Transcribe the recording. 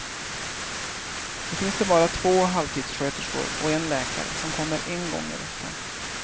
Nu finns det bara två halvtidssköterskor och en läkare som kommer en gång i veckan.